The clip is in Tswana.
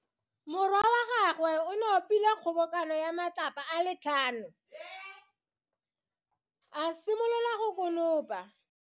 Morwa wa gagwe o nopile kgobokano ya matlapa a le tlhano, a simolola go konopa.